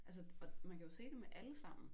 Altså og man kan jo se det med allesammen